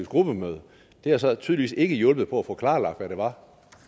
gruppemøde det har så tydeligvis ikke hjulpet på at få klarlagt hvad det var